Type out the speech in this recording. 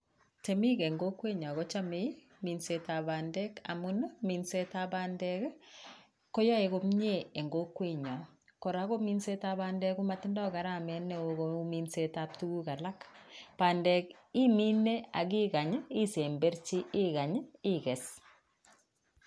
Temiik en kokwenyon kochome minsetab bandek amuun minsetab bandek koyoe komnyee en kokwenyon, kora kominsetab bandek ko motindo garamet newoo kouu minsetab tukuk alak, bandek imine ak ikany isemberchi ikany ikees.